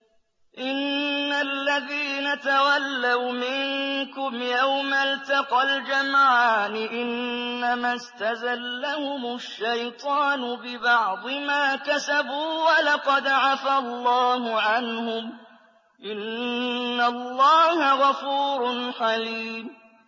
إِنَّ الَّذِينَ تَوَلَّوْا مِنكُمْ يَوْمَ الْتَقَى الْجَمْعَانِ إِنَّمَا اسْتَزَلَّهُمُ الشَّيْطَانُ بِبَعْضِ مَا كَسَبُوا ۖ وَلَقَدْ عَفَا اللَّهُ عَنْهُمْ ۗ إِنَّ اللَّهَ غَفُورٌ حَلِيمٌ